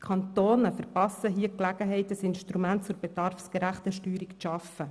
Die Kantone verpassen hier die Gelegenheit, ein Instrument zur bedarfsgerechten Steuerung zu schaffen.